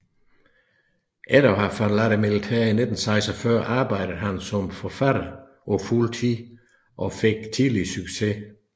Efter at have forladt militæret i 1946 arbejdede han som forfatter på fuld tid og fik tidligt succes